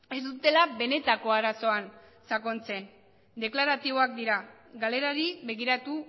ez dutela benetako arazoan sakontzen deklaratiboak dira galerari begiratu